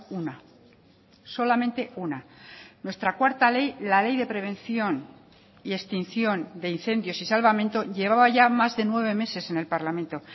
una solamente una nuestra cuarta ley la ley de prevención y extinción de incendios y salvamento llevaba ya más de nueve meses en el parlamento